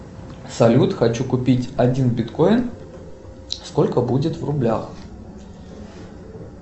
салют хочу купить один биткоин сколько будет в рублях